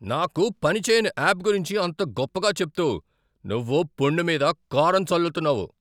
నాకు పని చేయని యాప్ గురించి అంత గొప్పగా చెప్తూ నువ్వు పుండు మీద కారం చల్లుతున్నావు.